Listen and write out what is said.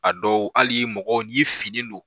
A dɔw hali mɔgɔ n' ye fini don.